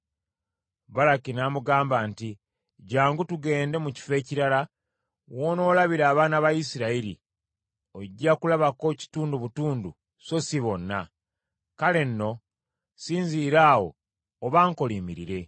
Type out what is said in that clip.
Balaki n’amugamba nti, “Jjangu tugende mu kifo ekirala w’onoolabira abaana ba Isirayiri; ojja kulabako kitundu butundu so si bonna. Kale nno sinziira awo obankolimiririre.”